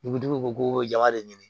Dugutigi ko ko jama de ye